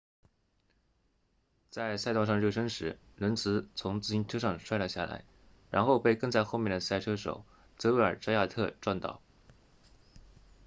在赛道上热身时伦茨 lenz 从自行车上摔了下来然后被跟在后面的赛车手泽维尔扎亚特 xavier zayat 撞到